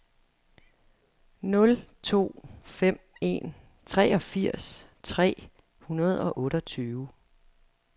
nul to fem en treogfirs tre hundrede og otteogtyve